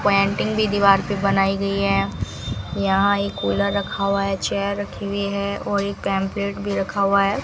Painting भी दीवार पे बनाई गई है यहां एक कूलर रखा हुआ है चेयर रखी हुई है और एक पैंफलेट भी रखा हुआ है।